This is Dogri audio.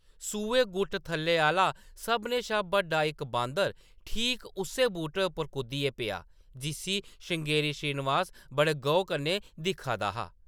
सूहे गुट्ट थल्ले आह्‌ला सभनें शा बड्डा इक बांदर ठीक उस्सै बूह्‌‌टे पर कुद्दियै पेआ, जिस्सी श्रृंगेरी श्रीनिवास बड़े गौह्‌‌ कन्नै दिक्खा दा हा ।